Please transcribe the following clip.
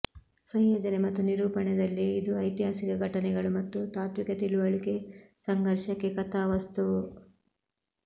ಸಂಯೋಜನೆ ಮತ್ತು ನಿರೂಪಣೆ ದಲ್ಲಿ ಇದು ಐತಿಹಾಸಿಕ ಘಟನೆಗಳು ಮತ್ತು ತಾತ್ವಿಕ ತಿಳುವಳಿಕೆ ಸಂಘರ್ಷಕ್ಕೆ ಕಥಾವಸ್ತುವು